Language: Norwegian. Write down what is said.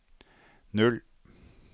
null